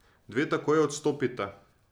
Dve takoj odstopita.